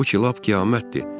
Bu ki lap qiyamətdir.